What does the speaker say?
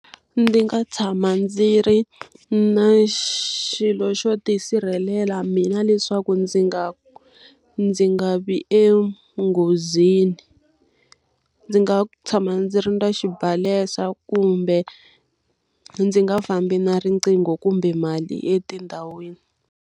Ndzi nga tshama ndzi ri na xilo xo ti sirhelela mina leswaku ndzi nga ndzi nga vi enghozini. Ndzi nga tshama ndzi ri na xibalesa kumbe ndzi nga fambi na riqingho kumbe mali etindhawini.